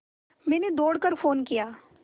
मैंने दौड़ कर फ़ोन किया